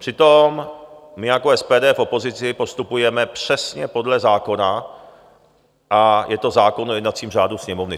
Přitom my jako SPD v opozici postupujeme přesně podle zákona, a to je zákon o jednacím řádu Sněmovny.